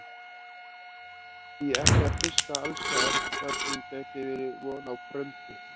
Því ekki að fiska alls staðar þar sem gæti verið von á bröndu?